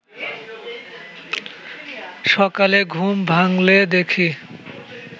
সকালে ঘুম ভাঙলে দেখি